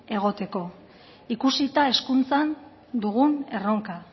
egoteko ikusita hezkuntzan dugun erronka